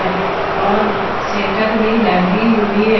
और सेटर भी लगी हुई है।